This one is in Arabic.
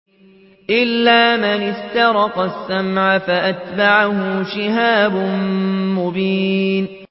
إِلَّا مَنِ اسْتَرَقَ السَّمْعَ فَأَتْبَعَهُ شِهَابٌ مُّبِينٌ